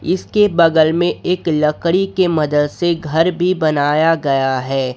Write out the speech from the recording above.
इसके बगल में एक लकड़ी के मदद से घर भी बनाया गया है।